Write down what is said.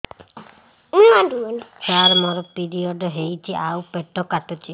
ସାର ମୋର ପିରିଅଡ଼ ହେଇଚି ଆଉ ପେଟ କାଟୁଛି